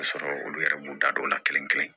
Ka sɔrɔ olu yɛrɛ m'u da don o la kelen kelen